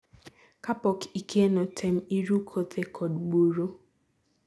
kapok ikeno tem iru kothe kod buru